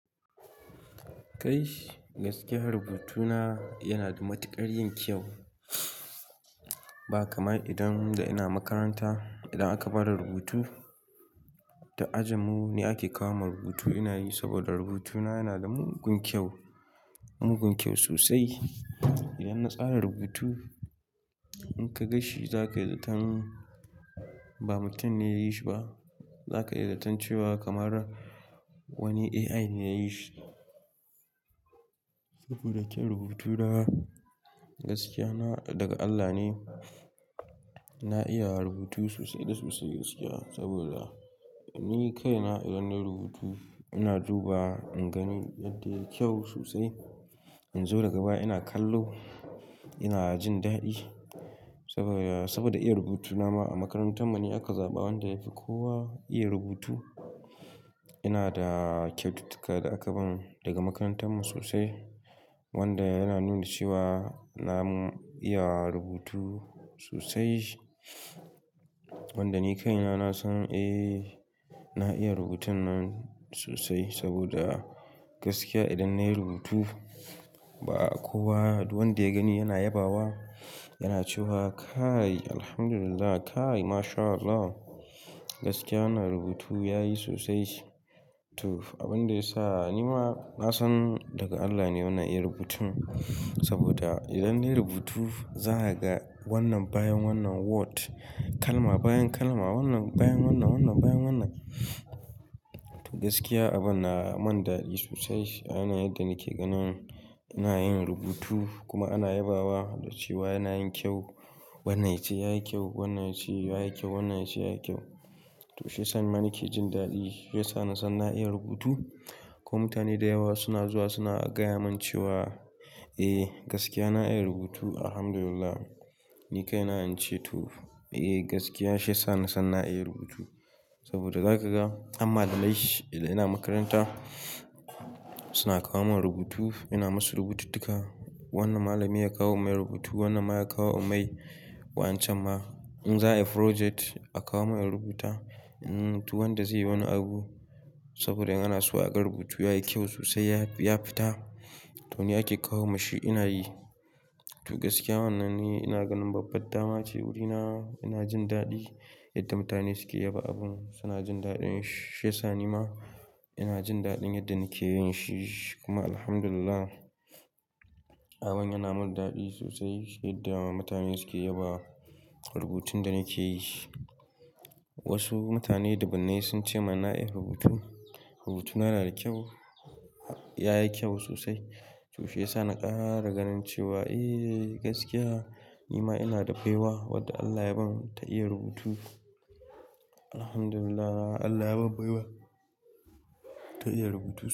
Kai gaskiya rubutuna yana da matuƙar. Yin kyau. Ba kamar idan da ina makaranta, idan aka ba da rubutu duk ajin mu ne ake kawo min rubutu, ina yi saboda rubutuna yana da mugun kyau, mugun kyau sosai. Idan na tsara rubutu in ka ganshi zakai zaton ba mutum ne yayi shi ba, zaka yi zaton cewa kamar wani AI ne yayi shi. Saboda kyau rubutu na gaskiya na daga Allah ne. Na iya rubutu sosai da sosai gaskiya saboda ni kaina idan nayi rubutu ina dubawa, in gani yadda yayi kyau sosai. In zo daga baya ina kallo, ina jin daɗi saboda, saboda iya rubutuna ma a makarantar mu ne aka zaɓa wanda yafi kowa iya rubutu. Ina da kyaututtuka da aka ban daga makarantar mu sosai wanda yana nuna cewa na mu iya rubutu sosai. Wanda ni kaina na san eh, na iya rubutun nan sosai saboda gaskiya idan nayi rubutu ba kowa wanda ya gani yana yabawa, yana cewa kai Alhamdulillah, kai Mashallah. Gaskiya na rubutu ya yi sosai to, abin da ya sa ni ma na san daga Allah ne wannan iya rubutun saboda idan nayi rubutu, za a ga wannan bayan wannan word, kalma bayan kalma, wannan bayan wannan, wannan bayan wannan. To gaskiya abin na mun daɗi sosai. A yanayin yadda nake ganin ina yin rubutu kuma ana yabawa da cewa yana yin kyau. Wannan yace ya yi kyau, wannan yace ya yi kyau, wannan yace ya yi kyau. To shi ya sa mani ke jin daɗi. Ya sa nasan na iya rubutu kuma mutane da yawa suna zuwa suna gaya man cewa eh gaskiya na iya rubutu Alhamdulillah. Ni kaina in ce to eh gaskiya shi ya sa ni san na iya rubutu saboda za ka ga har malamai idan ina makaranta suna kawo min rubutu. Ina masu rubututtuka. Wannan malami ya kawo mai rubutu, wannan ma ya kawo in mai waƴancan ma. In za a yi project a kawo min in rubuta. In duk wanda zai yi wani abu saboda in ana so a ga rubutu, ya yi kyau sosai, ya fita to ni ake kawo mashi ina yi. To gaskiya wannan ni ina ganin babbar dama ce wurina. Ina jin daɗi yadda mutane suke yaba abun. Su na jin daɗin shi. Shi ya sa ni ma ina jin daɗin yadda nike yin shi. Kuma Alhamdulillah abun yana min daɗi sosai yadda mutane suke yaba rubutun da nake yi. Wasu mutane dubbunai sun ce min na iya rubutu. Rubutuna yana da kyau. Ya yi kyau sosai. To shi ya sa na ƙara ganin cewa eh gaskiya ni ma ina da baiwa wadda Allah ya ban ta iya rubutu. Alhamdulillah Allah ya ban baiwa ta iya rubutu.